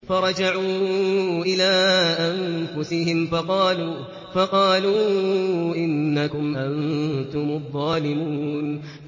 فَرَجَعُوا إِلَىٰ أَنفُسِهِمْ فَقَالُوا إِنَّكُمْ أَنتُمُ الظَّالِمُونَ